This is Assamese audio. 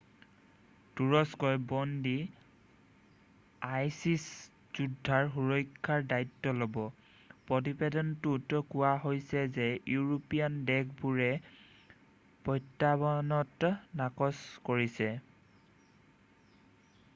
তুৰস্কই বন্দী আইছিছ যোদ্ধাৰ সুৰক্ষাৰ দায়িত্ব ল'ব প্ৰতিবেদনটোত কোৱা হৈছে যে ইউৰোপীয়ান দেশবোৰে প্ৰত্যাৱৰ্তন নাকচ কৰিছে